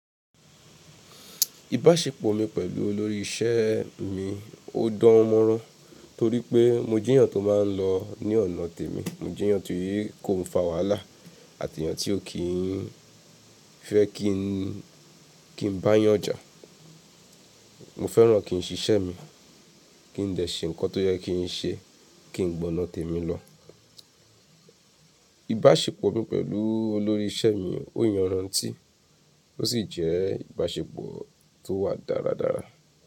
Ìbáṣepọ̀ mi pẹ̀lú olórí ìṣe mi ó dánmọ́rán torí pé mo je eyàn tó má n lọ ní ọ̀nà tèmi, mo je eyàn ti kò n fa wàhálà àti eyàn tí o ki n fẹ́ kí n bá eyàn jà. Mo fẹ́ràn kí n ṣiṣẹ́ mi, kí n dẹ̀ ṣé ǹkan tó yẹ kí n ṣe, kí n gbọnà tèmi lọ. Ìbáṣepọ̀ mi pẹ̀lú olórí ìṣe mi ó yanrantí ó sì jẹ́ ìbáṣepọ̀ tó wà dáradára.